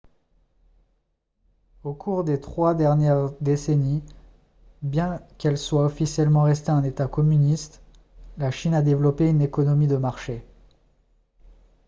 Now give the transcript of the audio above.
au cours des trois dernières décennies bien qu'elle soit officiellement restée un état communiste la chine a développé une économie de marché